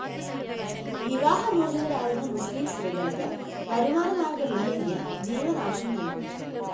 വിവാഹമോചിതരാവുന്ന മുസ്ലിം സ്ത്രീകള്‍ക്ക് വരുമാനമാര്‍ഗമില്ലെങ്കില്‍ ജീവനാംശം നല്‍കണം